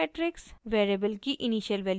variables की initial values matrix